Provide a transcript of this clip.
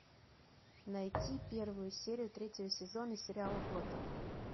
найти первую серию третьего сезона сериала готем